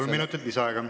Kolm minutit lisaaega.